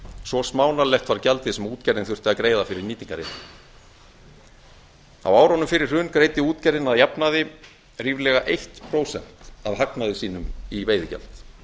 svo smánarlegt var gjaldið sem útgerðin þurfti að greiða fyrir nýtingarréttinn á árunum fyrir hrun greiddi útgerðin að jafnaði ríflega eitt prósent af hagnaði sínum í veiðigjald